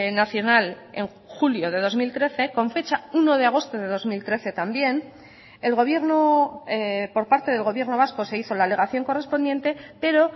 nacional en julio de dos mil trece con fecha uno de agosto de dos mil trece también el gobierno por parte del gobierno vasco se hizo la alegación correspondiente pero